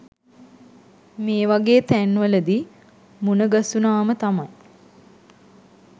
මේවගෙ තැන්වලදි මුනගසුනාම තමයි